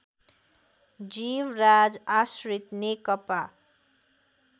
Jivraj Ashrit Nekapa